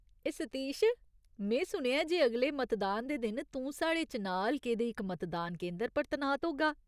ए सतीश, में सुनेआ ऐ जे अगले मतदान दे दिन तूं साढ़े चुनांऽ हलके दे इक मतदान केंदर पर तनात होगा।